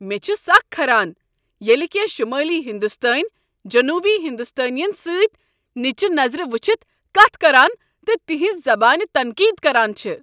مےٚ چھ سكھ کھران ییٚلہ کٮ۪نٛہہ شمٲلی ہندوستٲنۍ جنوبی ہندوستٲنین سۭتۍ نچہ نظر وٕچھتھ کتھ کران تہٕ تہنزِ زبٲنہِ تنقید کران چھِ۔